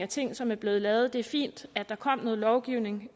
ting som er blevet lavet det er fint at der er kommet noget lovgivning